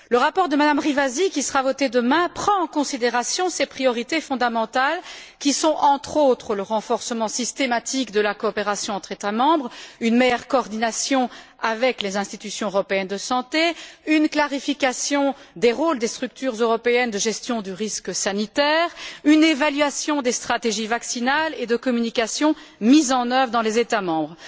Le rapport de Mme Rivasi qui sera voté demain prend en considération ces priorités fondamentales qui sont entre autres le renforcement systématique de la coopération entre États membres, une meilleure coordination avec les institutions européennes de santé, une clarification des rôles des structures européennes de gestion du risque sanitaire, et une évaluation des stratégies vaccinales et de communication mises en œuvre dans les États membres.